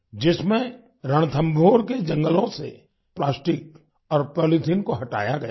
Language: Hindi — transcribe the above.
जिसमें रणथंभौर के जंगलों से प्लास्टिक और पॉलीथीन को हटाया गया है